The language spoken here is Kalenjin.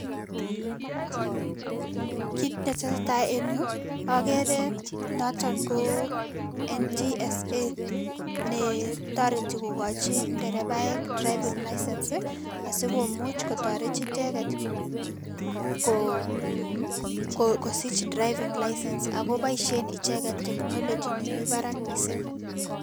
kit ne tesetai en yu, akere noton ko NTSA ne toreti kokochin nderepaek driving-license, asikomuch kototoret icheket kosich driving-license ako boisien icheket technology ne mi barak mising